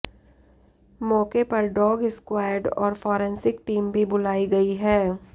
मौके पर dog squad और फॉरेंसिस्क टीम भी बुलाई गई है